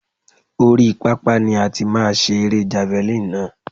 Oríi pápá ni a ti máa ṣe erée javalínì náà.